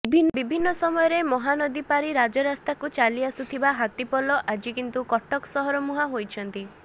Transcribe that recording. ବିଭିନ୍ନ ସମୟରେ ମହାନଦୀ ପାରି ରାଜରାସ୍ତାକୁ ଚାଲି ଆସୁଥିବା ହାତୀପଲ ଆଜି କିନ୍ତୁ କଟକ ସହରମୁହାଁ ହୋଇଛନ୍ତି